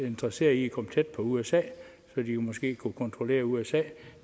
interesseret i at komme tæt på usa så de måske kunne kontrollere usa